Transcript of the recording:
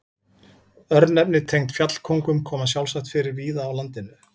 Örnefni tengd fjallkóngum koma sjálfsagt fyrir víða á landinu.